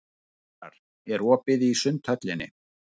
Ýrar, er opið í Sundhöllinni?